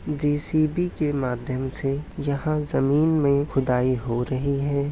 JCB के माध्यम से यहाँ जमीन में खुदाई हो रही है।